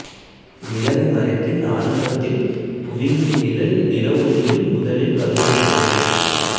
நிலவு மறைப்பின் ஆரம்பத்தில் புவியின் நிழல் நிலவொளியை முதலில் கருமையாக்கும்